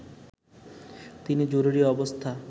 তিনি জরুরী অবস্থা